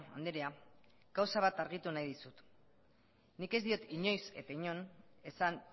andrea gauza bat argitu nahi dizut nik ez diot inoiz eta inon esan